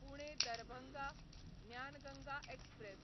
Pune Darbhanga Gyan Ganga express